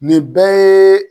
Nin bɛɛ ye